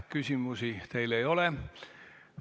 Küsimusi teile ei ole.